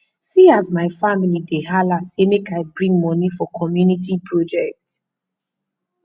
see as my family dey hala sey make i bring moni for community project